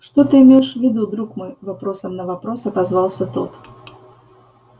что ты имеешь в виду друг мой вопросом на вопрос отозвался тот